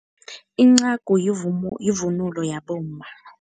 Incagu yivunulo yabomma.